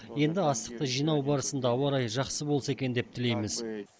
енді астықты жинау барысында ауа райы жақсы болса екен деп тілейміз